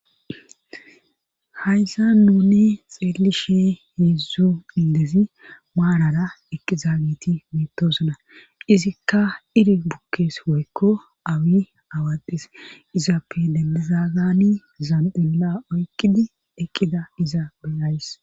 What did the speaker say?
Hayza nuni xeelli shee heedzdzu indezi maarara eqqiza giti mitosona izikka iri bukkees woykko awi awades izappe dembezagani zandilla oykkidi eqqida iza beyays.